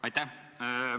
Aitäh!